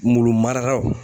Mulu marakaw